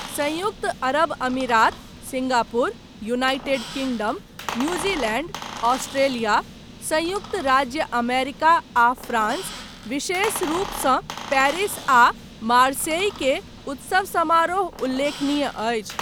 सन्युक्त अरब अमीरात, Singapore, United Kingdom, New Zealand, Australia, सन्युक्त राज्य अमेरिका आ फ्रांस, विशेष रूप सँ पेरिस आ मार्सेई केर, उत्सव समारोह उल्लेखनीय अछि।